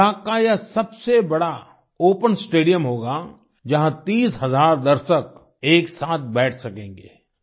लड़ख का यह सबसे बड़ा ओपन स्टेडियम होगा जहाँ 30000 दर्शक एक साथ बैठ सकेंगे